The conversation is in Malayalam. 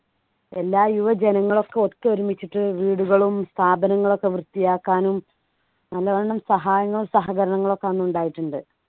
എല്ലാ യുവജനങ്ങളൊക്കെ ഒത്തൊരുമിച്ചിട്ട് വീടുകളും സ്ഥാപനങ്ങളും ഒക്കെ വൃത്തിയാക്കാനും നല്ലവണ്ണം സഹായങ്ങളും സഹകരണങ്ങളും ഒക്കെ അന്ന് ഉണ്ടായിട്ടുണ്ട്